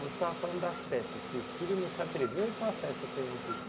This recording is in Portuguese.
Você estava falando das festas, que os filhos não se atreviam a ir para uma festa sem vocês.